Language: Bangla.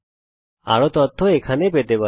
আরও তথ্য এখানে পেতে পারেন